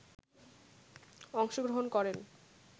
অংশগ্রহণ করেন